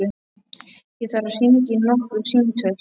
Ég þarf að hringja nokkur símtöl.